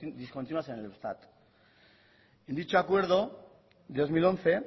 discontinuas en el eustat en dicho acuerdo de dos mil once